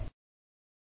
যোগদান কৰাৰ বাবে ধন্যবাদ